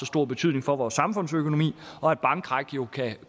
stor betydning for vores samfundsøkonomi og et bankkrak